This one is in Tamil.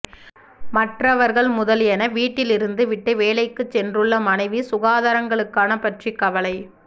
மற்றவர்கள் முதலியன வீட்டில் இருந்து விட்டு வேலை க்கு சென்றுள்ள மனைவி சுகாதாரங்களுக்கான பற்றி கவலை